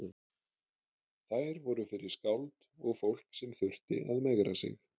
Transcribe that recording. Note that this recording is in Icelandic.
Þær voru fyrir skáld og fólk sem þurfti að megra sig.